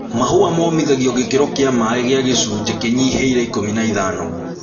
Mahũa momithagio gĩkĩro kĩa maĩ kĩa gĩcunjĩ kĩnyihĩire ikũmi na ithano.